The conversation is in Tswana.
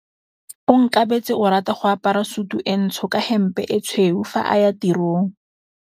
Onkabetse o rata go apara sutu e ntsho ka hempe e tshweu fa a ya tirong.